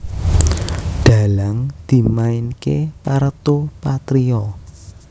Dhalang dimainké Parto Patrio